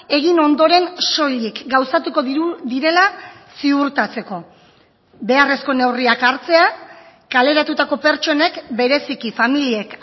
egin ondoren soilik gauzatuko direla ziurtatzeko beharrezko neurriak hartzea kaleratutako pertsonek bereziki familiek